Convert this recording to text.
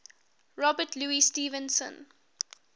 robert louis stevenson